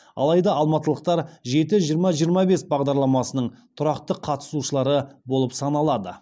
алайда алматылықтар жеті жиырма жиырма бес бағдарламасының тұрақты қатысушылары болып саналады